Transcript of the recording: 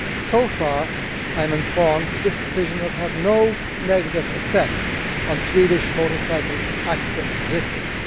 So far as I am informed, this decision has had no negative effective on Swedish motorcycle accident statistics.